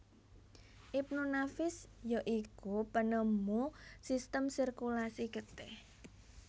Ibnu Nafis ya iku penemu sistem sirkulasi getih